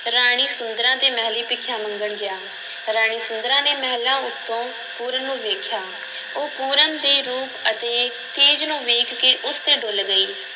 ਰਾਣੀ ਸੁੰਦਰਾਂ ਦੇ ਮਹਿਲੀਂ ਭਿੱਖਿਆ ਮੰਗਣ ਗਿਆ, ਰਾਣੀ ਸੁੰਦਰਾਂ ਨੇ ਮਹਿਲਾਂ ਉੱਤੋਂ ਪੂਰਨ ਨੂੰ ਵੇਖਿਆ, ਉਹ ਪੂਰਨ ਦੇ ਰੂਪ ਅਤੇ ਤੇਜ ਨੂੰ ਵੇਖ ਕੇ ਉਸ ਤੇ ਡੁੱਲ੍ਹ ਗਈ।